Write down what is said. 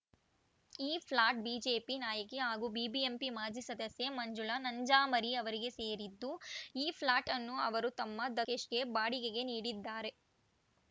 ಈ flat BJP ನಾಯಕಿ ಹಾಗೂ ಬಿಬಿಎಂಪಿ ಮಾಜಿ ಸದಸ್ಯೆ ಮಂಜುಳಾ ನಂಜಾಮರಿ ಅವರಿಗೆ ಸೇರಿದ್ದು ಈ ಫ್ಲಾಟ್‌ ಅನ್ನು ಅವರು ತಮ್ಮ ದಕೇಶ್‌ಗೆ ಬಾಡಿಗೆಗೆ ನೀಡಿದ್ದಾರೆ